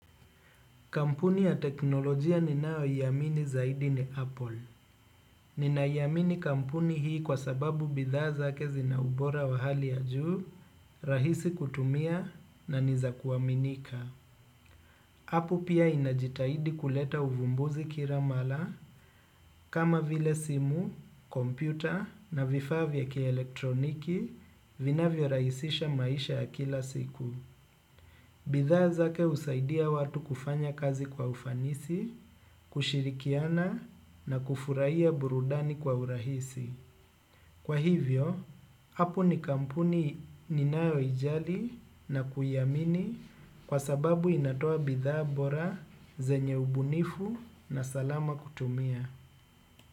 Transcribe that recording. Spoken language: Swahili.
Kampuni ya teknolojia ninayoiamini zaidi ni apple. Ninaiamini kampuni hii kwa sababu bidhaa zake zina ubora wa hali ya juu, rahisi kutumia na niza kuaminika. Apo pia inajitahidi kuleta uvumbuzi kila mara kama vile simu, kompyuta na vifavya kiaelektroniki vinavyorahisisha maisha ya kila siku. Bidhaa zake husaidia watu kufanya kazi kwa ufanisi, kushirikiana na kufurahia burudani kwa urahisi. Kwa hivyo, Apple ni kampuni ninayoijali na kuiamini kwa sababu inatoa bidhaa bora zenye ubunifu na salama kutumia.